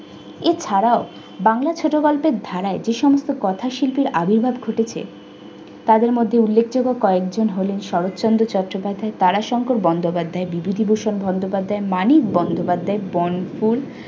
এছাড়াও বাংলা ছোটগল্পের ধারায় যে সমস্ত কথাশিল্পের আবির্ভাব ঘটেছে তাদের মধ্যে উল্লেখযোগ্য কয়েকজন হলেন- শরৎচন্দ্র চট্টোপাধ্যায় তারা শঙ্কর বন্দোপাধ্যায় বিভূতিভূষন বন্দোপাধ্যায় মানিক বন্দোপাধ্যায় বনফুল